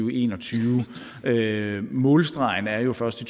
og en og tyve vil jeg målstregen er jo først i